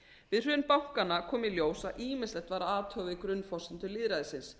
við hrun bankanna kom í ljós að ýmislegt var að athuga við grunnforsendur lýðræðisins